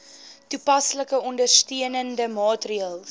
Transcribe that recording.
toepaslike ondersteunende maatreëls